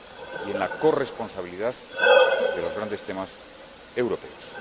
y en la corresponsabilidad de los grandes temas europeos.